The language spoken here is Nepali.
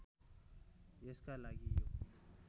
यसका लागि यो